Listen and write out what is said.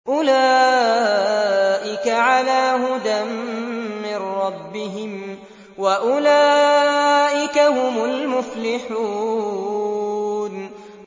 أُولَٰئِكَ عَلَىٰ هُدًى مِّن رَّبِّهِمْ ۖ وَأُولَٰئِكَ هُمُ الْمُفْلِحُونَ